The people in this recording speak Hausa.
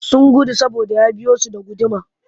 Sun gudu saboda ya biyo su da guduma